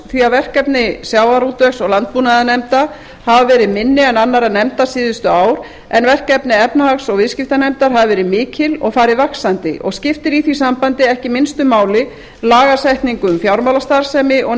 því verkefni sjávarútvegs og landbúnaðarnefnda hafa verið minni en annarra nefnda síðustu ár en verkefni efnahags og viðskiptanefndar hafa verið mikil og farið vaxandi og skiptir í því sambandi ekki minnstu máli lagasetning um fjármálastarfsemi og